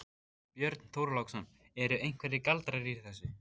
Björn Þorláksson: Eru einhverjir galdrar í þessu?